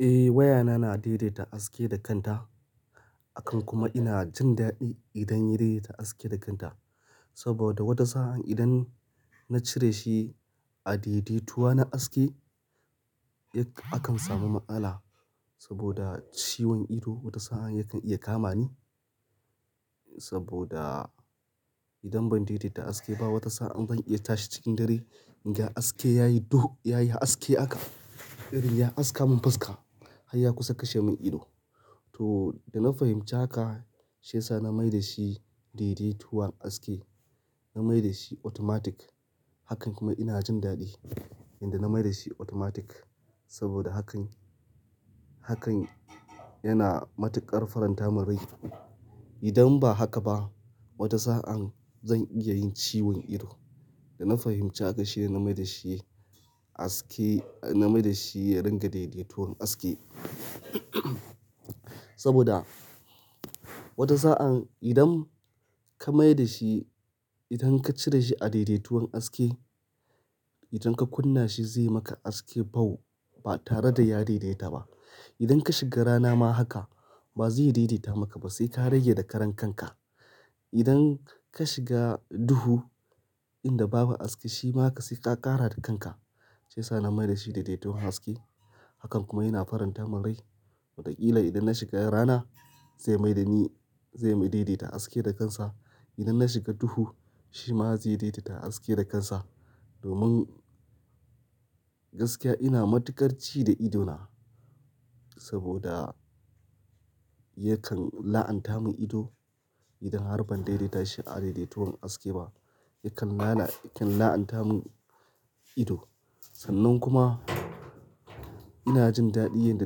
Eh wayana na daidaita haske da kanta, akan kuma ina jin daɗi idan ya daidaita haske da kanta. Saboda wata sa'an idan na cire shi a daidaituwa na haske, yakan samu matsala saboda ciwon ido wata sa'an yakan iya kama ni. Saboda idan ban daidaita haske ba wata sa'an zan iya tashi cikin dare, inga haske yayi duhu yayi haske haka, irin ya haska mun faska har ya kusa kashe mun ido. To da na fahimci haka shiyasa na mai da shi daidaituwan haske, na mai da shi automatic. Hakan kuma ina jin daɗi, idan na mai da shi automatic saboda hakan, hakan yana matuƙar faranta mun rai. Idan ba haka ba wata sa'an zan iya yin ciwon ido. Da na fahimci haka shine na mai da shi haske, na mai da shi ya ringa daidaituwan haske. Saboda wata sa'an idan ka mai da shi, idan ka cire shi a daidaituwan haske, idan ka kunna shi zai maka haske bau, ba tare da ya daidaita ba. Idan ka shiga rana ma haka ba zai daidaita maka ba sai ka rage da karan kanka. Idan ka shiga duhu inda babu haske shi ma haka sai ka ƙara da kanka. Shiyasa na mai da shi daidaituwan haske hakan kuma yana faranta mun rai. Waɗakila idan na shiga rana zai mai da ni, zai mu daidaita haske da kansa. Idan na shiga duhu shi ma zai daidaita aske da kansa. Domin gaskiya ina matuƙar ci da idona saboda yakan la'anta mun ido idan har ban daidaita shi a daidaituwan haske ba, yakan la'ana, yakan la'anta mun ido. Sannan kuma ina jin daɗi yanda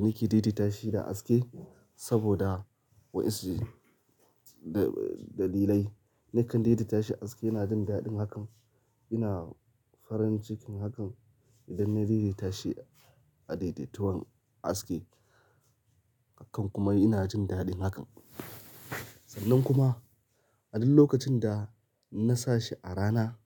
nake daidaita shi da haske saboda wasu dalilai. Nakan daidaita shi haske yana jin daɗin hakan, ina farin cikin hakan idan na daidaita shi a daidaituwan haske. Hakan kuma ina jin daɗin hakan. Sannan kuma a duk lokacin da na sa shi a rana.